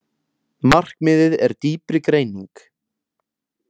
Markmiðið er dýpri greining